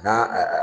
N'a